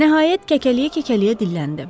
Nəhayət, kəkələyə-kəkələyə dilləndi: